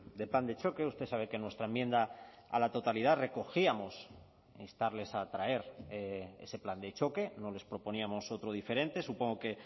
de plan de choque usted sabe que en nuestra enmienda a la totalidad recogíamos instarles a traer ese plan de choque no les proponíamos otro diferente supongo que